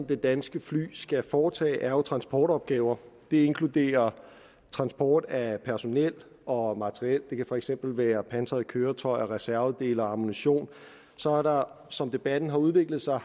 det danske fly skal foretage er jo transportopgaver det inkluderer transport af personel og materiel det kan for eksempel være pansrede køretøjer reservedele og ammunition så har der som debatten har udviklet sig